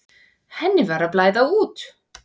Henni var að blæða út.